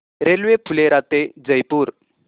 railway Phulera ते जयपूर